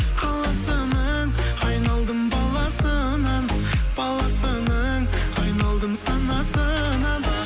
қаласының айналдым баласынан баласының айналдым санасынан